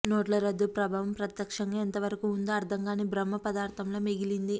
నోట్ల రద్దు ప్రభావం ప్రత్యక్షంగా ఎంతవరకు ఉందో అర్థం కాని బ్రహ్మ పదార్థంలా మిగిలింది